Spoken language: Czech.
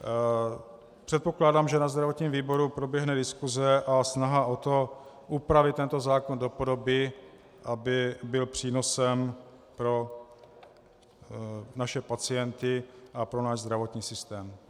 Předpokládám, že ve zdravotním výboru proběhne diskuse a snaha o to, upravit tento zákon do podoby, aby byl přínosem pro naše pacienty a pro náš zdravotní systém.